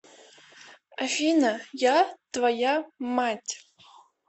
афина я твоя мать